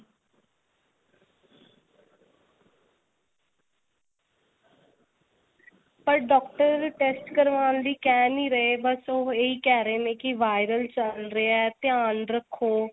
ਪਰ doctor test ਕਰਵਾਉਣ ਲਈ ਕਿਹ ਨੀ ਰਹੇ ਬੱਸ ਉਹ ਇਹੀ ਕਿਹ ਰਹੇ ਨੇ ਕਿ viral ਚੱਲ ਰਿਹਾ ਧਿਆਨ ਰੱਖੋ.